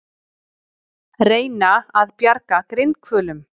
Reyna að bjarga grindhvölum